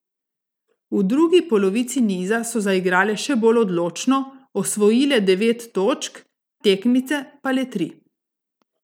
V drugi polovici niza so zaigrale še bolj odločno, osvojile devet točk, tekmice pa le tri.